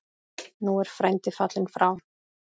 Nú er frændi fallinn frá.